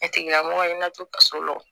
A tigila mɔgɔ i na to ka so lɔgɔ